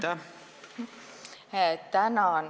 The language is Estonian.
Tänan!